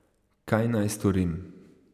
Kaj naj storim?